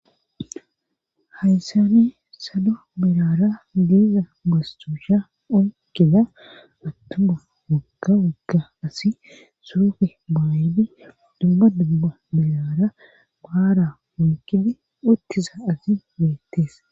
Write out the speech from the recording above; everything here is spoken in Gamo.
hayssani sado milara deeza mastuusha onkida attuma wagka wagga asi suufe baayidi dubba dubba milara baara munkini uttiza asi beettees